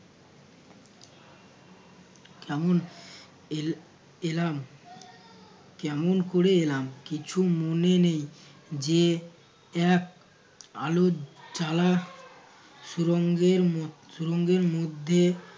Camon এল~ এলাম কেমন কোরে এলাম কিছু মনে নেই যে এক আলোর জ্বালা সুরঙ্গের ম~ সুরঙ্গের মধ্যে